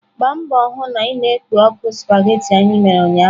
Gbaa mbọ hụ na ị na-ekpo ọkụ spaghetị anyị mere ụnyaahụ!.